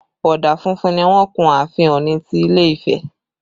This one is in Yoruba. Ọ̀dà funfun ni wọ́n kun ààfin Ọ̀ọ̀ni ti ilé Ifẹ̀